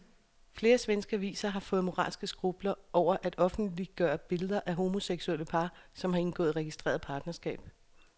Flere svenske aviser har fået moralske skrupler over at offentliggøre billeder af homoseksuelle par, som har indgået registreret partnerskab.